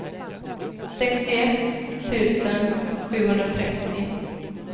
sextioett tusen sjuhundratrettio